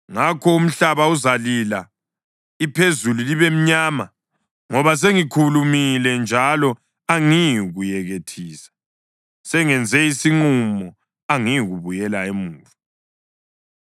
Ngakho umhlaba uzalila iphezulu libe mnyama, ngoba sengikhulumile njalo angiyikuyekethisa, sengenze isinqumo angiyikubuyela emuva.”